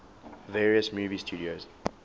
various movie studios